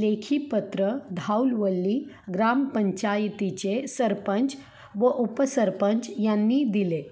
लेखी पत्र धाऊलवल्ली ग्रामपंचायतीचे सरपंच व उपसरपंच यांनी दिले